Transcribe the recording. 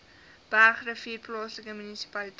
bergrivier plaaslike munisipaliteit